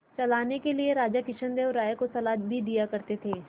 चलाने के लिए राजा कृष्णदेव राय को सलाह भी दिया करते थे